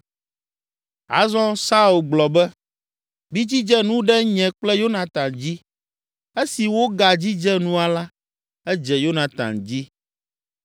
Azɔ Saul gblɔ be, “Midzidze nu ɖe nye kple Yonatan dzi.” Esi woagadzidze nua la, edze Yonatan dzi.